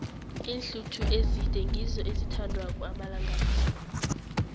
iinhluthu ezide ngizo ezithandwako amalanga la